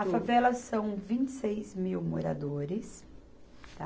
A favela são vinte e seis mil moradores, tá?